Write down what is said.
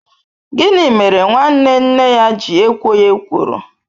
Gịnị mere nwanne nne ya ji ekwo ya ekworo?